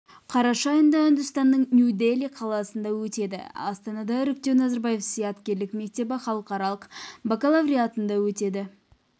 қараша айында үндістанның нью дели қаласында өтеді астанада іріктеу назарбаев зияткерлік мектебі халықаралық бакалавриатында өтеді